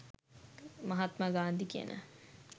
මහත්මා ගාන්ධි කියන